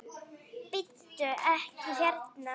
Bíddu. ekki hérna!